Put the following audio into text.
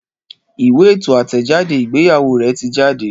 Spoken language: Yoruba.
Ìwé ètò àtẹ̀jáde ìgbéyàwó rè ti jáde